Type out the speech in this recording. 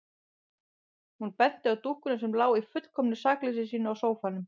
Hún benti á dúkkuna sem lá í fullkomnu sakleysi sínu á sófanum.